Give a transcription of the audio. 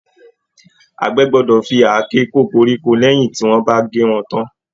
Àgbẹ̀ gbọ́dọ̀ fi àáké kó koríko lẹyìn tí wọ́n bá gé wọn tán.